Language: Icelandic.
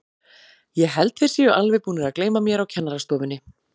Ég held þeir séu alveg búnir að gleyma mér á kennarastofunni.